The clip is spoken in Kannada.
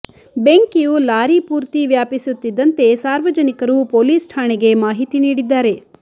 ಬೆಂಕಿಯು ಲಾರಿ ಪೂರ್ತಿ ವ್ಯಾಪಿಸುತ್ತಿದ್ದಂತೆ ಸಾರ್ವಜನಿಕರು ಪೊಲೀಸ್ ಠಾಣೆಗೆ ಮಾಹಿತಿ ನೀಡಿದ್ದಾರೆ